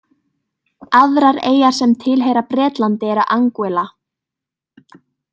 Aðrar eyjar sem tilheyra Bretlandi eru Anguilla.